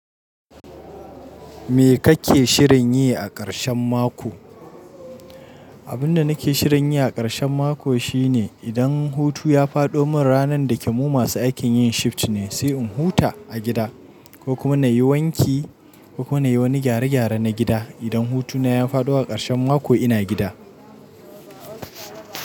Me kake shirin yi a karshen mako? Abin da nake shirin yi a karshen mako shine idan hutu ya faɗo mun ranan da kemu masu aikin yin shift ne sai in huta a gida ko kuma nayi wanki ko kuma nayi wani gyare gyare na gida. Idan hutuna ya fado a karshen mako ina gida.